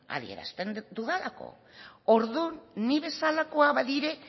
adierazten dudalako orduan ni bezalakoa badira